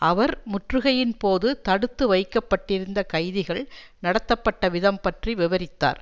அவர் முற்றுகையின்போது தடுத்து வைக்க பட்டிருந்த கைதிகள் நடத்தப்பட்டவிதம் பற்றி விவரித்தார்